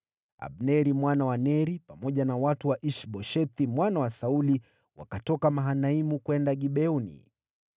Abneri mwana wa Neri, pamoja na watu wa Ish-Boshethi mwana wa Sauli, wakatoka Mahanaimu kwenda Gibeoni.